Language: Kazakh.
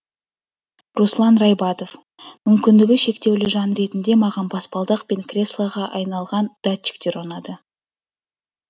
руслан райбатов мүмкіндігі шектеулі жан ретінде маған баспалдақ пен креслоға айналған датчиктер ұнады